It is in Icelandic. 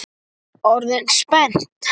Orðin spennt?